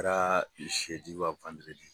O kɛra wa